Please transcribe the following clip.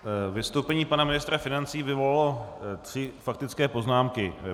Vystoupení pana ministra financí vyvolalo tři faktické poznámky.